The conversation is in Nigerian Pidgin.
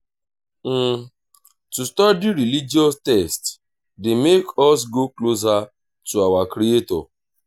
to study religious text de make us go closer to our creator